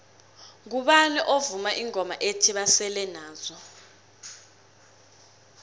ngubani ovuma ingoma ethi basele nazo